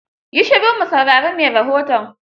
Yi shiru mu saurari mai rahoton.